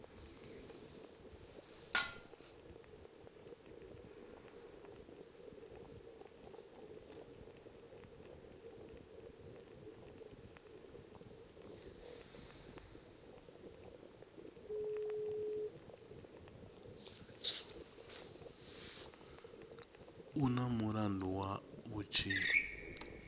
u na mulandu wa vhutshinyi